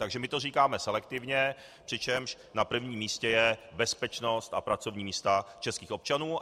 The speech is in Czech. Takže my to říkáme selektivně, přičemž na prvním místě je bezpečnost a pracovní místa českých občanů.